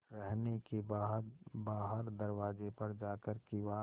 रहने के बाद बाहर दरवाजे पर जाकर किवाड़